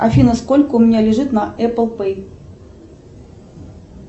афина сколько у меня лежит на эппл пэй